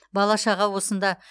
бала шаға осында